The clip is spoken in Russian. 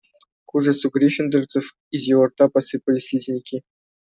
к ужасу гриффиндорцев из его рта посыпались слизняки